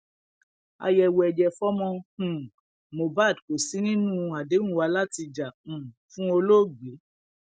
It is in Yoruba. àyẹwò ẹjẹ fọmọ um mohbad kò sí nínú àdéhùn wa láti jà um fún olóògbé